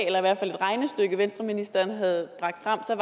eller i hvert fald et regnestykke som venstreministeren havde bragt frem så